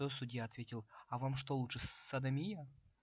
то судья ответил а вам что лучше содомия